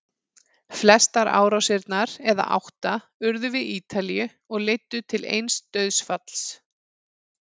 Flestar árásirnar, eða átta, urðu við Ítalíu og leiddu til eins dauðsfalls.